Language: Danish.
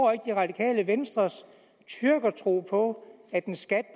det radikale venstres tyrkertro på at en skat